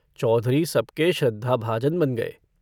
चौधरी सब के श्रद्धाभाजन बन गए।